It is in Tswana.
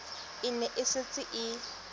e ne e setse e